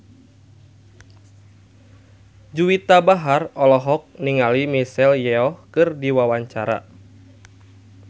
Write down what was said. Juwita Bahar olohok ningali Michelle Yeoh keur diwawancara